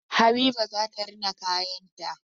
Habiba zata rina kayan ta